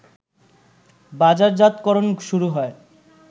বাজারজাতকরণ শুরু হয়